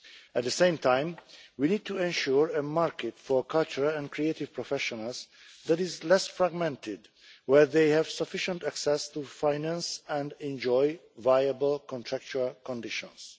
At the same time, we need to ensure a market for cultural and creative professionals that is less fragmented, and where they have sufficient access to finance and enjoy viable contractual conditions.